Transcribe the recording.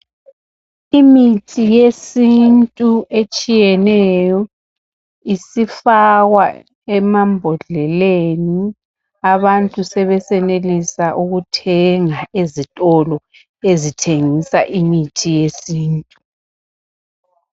Imithi yesintu etshiyeneyo isifakwa emabhodleleni abantu sebesenelisa ukuthenga ezitolo ezithengisa imithi yesintu.